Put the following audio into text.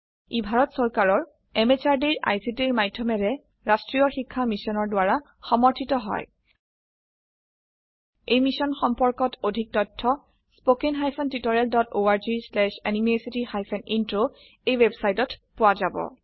ই ভাৰত চৰকাৰৰ MHRDৰ ICTৰ মাধয়মেৰে ৰাস্ত্ৰীয় শিক্ষা মিছনৰ দ্ৱাৰা সমৰ্থিত হয় এই মিশ্যন সম্পৰ্কত অধিক তথ্য spoken hyphen tutorial dot org slash এনএমইআইচিত হাইফেন ইন্ট্ৰ ৱেবচাইটত পোৱা যাব